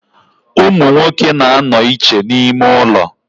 Umunwoke na-ano iche n'ime ulo.